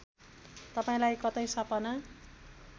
तपाईँलाई कतै सपना